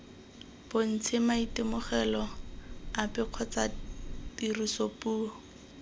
bontshe maitemogelo ape kgotsa tirisopuo